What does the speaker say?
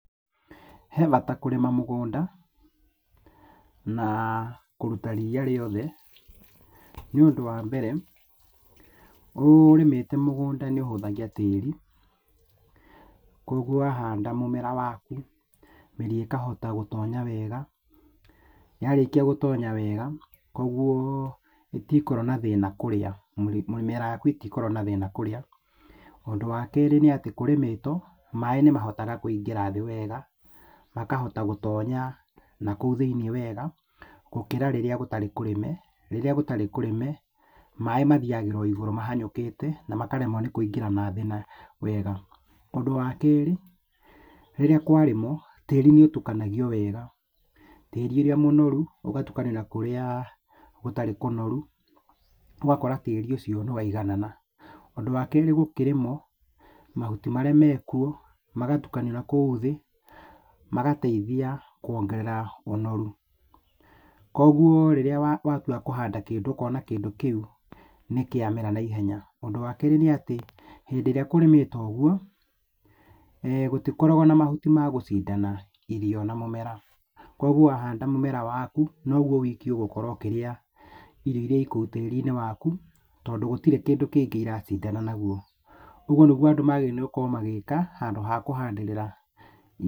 He bata kũrĩma mũgũnda na kũruta ria rĩothe nĩ ũndũ wa mbere ũrĩmĩte mũgũnda nĩ ũhũthagia tĩri, kũgua wahanda mũmera waku mĩri ĩkahota gũtonya wega, yarĩkia gũtonya wega kwoguo ndigũkorwo na thĩna mĩri kũrĩa, mĩmera yaku ndigũkorwo na thĩna kũrĩa, ũndũ wa kerĩ nĩ atĩ kũrĩmĩtwo maĩ nĩ mahotaga kũingĩra thĩ wega makahota gũtonya na kũu thĩinĩ wega gũkĩra rĩrĩa gũtarĩ kũrĩme, rĩrĩa gũtarĩ kũrĩme maĩ mathiagĩra igũrũ mahanyũkĩte makaremwo nĩ kũingĩra thĩ wega, ũndũ wa kerĩ rĩrĩa kwa rĩmwo tĩri nĩ ũrukanagio wega, tĩri ũrĩa mũnoru ũgatukanio na kũrĩa gũtarĩ kũnoru ũgakora tĩri ũcio nĩ waiganana. Ũndũ wa kerĩ gũkĩrĩmwo mahuti marĩa mekuo magatukanio nakũu thĩ magateithia kwongerera ũnoru, kwoguo rĩrĩa watua kũhanda ũkona kĩndũ kĩu nĩkĩa mera na ihenya, ũndũ wa kerĩ nĩ atĩ hĩndĩ ĩrĩa kũrĩmĩtwo ũguo, gũtikoragwo na mahuti ma gũcindana irio na mũmera kwoguo wa handa mũmera waku noguo wiki ũgũkorwo ũkĩrĩa irio iria ciĩ tĩrinĩ waku tondũ gũtirĩ kĩndũ kĩracindana na kĩo, ũguo nĩguo andũ magĩrĩirwo magĩka handũ ha kũhandĩrĩra.